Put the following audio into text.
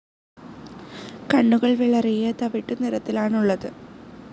കണ്ണുകൾ വിളറിയ തവിട്ടു നിറത്തിലുള്ളതാണ്.